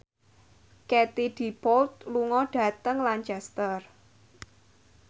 Katie Dippold lunga dhateng Lancaster